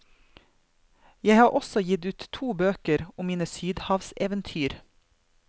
Jeg har også gitt ut to bøker om mine sydhavseventyr.